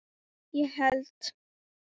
ég held